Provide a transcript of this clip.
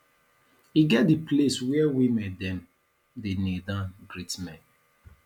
e get di place where women dem dey kneel down greet men